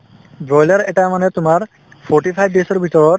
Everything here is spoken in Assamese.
broiler এটা মানে তোমাৰ forty five days ৰ ভিতৰত